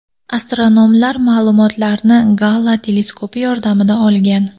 Astronomlar ma’lumotlarni Gala teleskopi yordamida olgan.